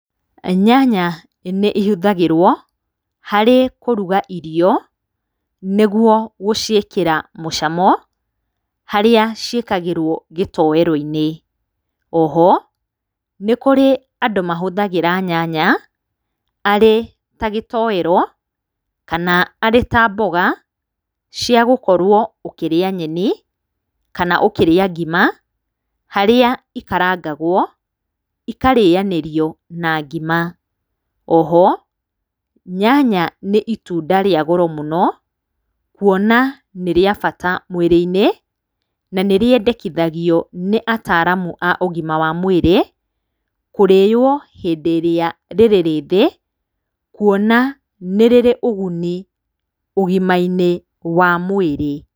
Nyanya nĩihũthagĩrwo harĩ kũruga irio, nĩguo gũciĩkĩra mũcamo harĩa ciĩkagĩrwo gĩtoero-inĩ. O ho nĩ kũrĩ andũ mahũthagĩra nyanya arĩ ta gĩtoero kana arĩ ta mboga cia gũkorwo ũkĩrĩa nyeni kana ũkĩrĩa ngima, harĩa ikarangagwo ikarĩyanĩrio na ngima. O ho nyanya nĩ itunda rĩa goro mũno kuona nĩrĩa bata mwĩrĩ-inĩ, na nĩrĩendekithagio nĩ ataramu a ũgima wa mwĩrĩ kũrĩywo hĩndĩ ĩrĩa rĩrĩ rĩthĩ kuona nĩ rĩrĩ ũguni ũgima-inĩ wa mwĩrĩ.